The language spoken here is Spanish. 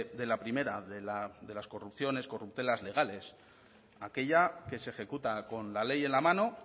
de la primera de las corrupciones corruptelas legales aquella que se ejecuta con la ley en la mano